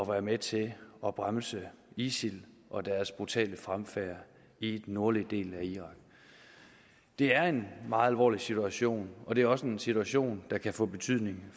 være med til at bremse isil og deres brutale fremfærd i den nordlige del af irak det er en meget alvorlig situation og det er også en situation der kan få betydning